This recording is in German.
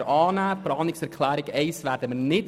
Die Planungserklärung 1 lehnen wir ab.